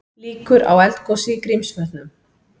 Líkur á eldgosi í Grímsvötnum